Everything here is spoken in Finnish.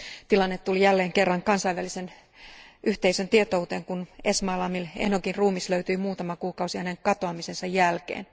Tilanne tuli jälleen kerran kansainvälisen yhteisön tietouteen, kun Esmail Amil Enogin ruumis löytyi muutama kuukausi hänen katoamisensa jälkeen.